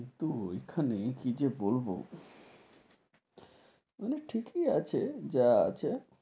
কিন্তু ওই খানে কি যে বলবো, মানে ঠিকি আছে যা আছে,